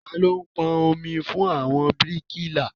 Tani ó pọn omi fún àwọn bíríkìlà?